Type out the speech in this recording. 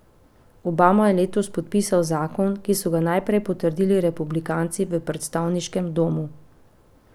Obama je letos podpisal zakon, ki so ga najprej potrdili republikanci v predstavniškem domu.